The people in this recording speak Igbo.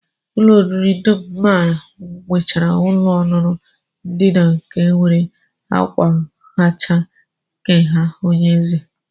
Ụlọ oriri dum m maara nwechara ọnụụlọ ndina nke nwere ákwa hacha ka nke onyeeze